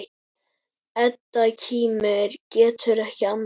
Edda kímir, getur ekki annað.